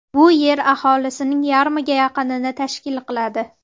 Bu Yer aholisining yarmiga yaqinini tashkil qiladi.